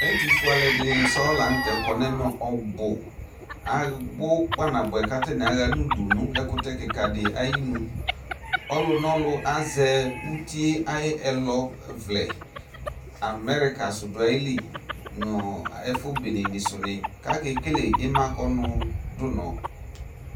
Ɛtʋwɛ alʋɛddɩnɩ sɔŋ la n'tɛ kɔ n'mɛ ɔbʋ Abʋ kpanabʋɛ k'atanɩ ama n'udu nʋ ɛkʋtɛ kɩka dɩ ayinu Ɔlʋnɔlʋ azɛ uti ayʋ ɛlɔvlɛ America sʋ dʋ ayili nʋ ɛfʋ enenɩ sʋ nɩ k'akekele ima kɔnʋdunɔ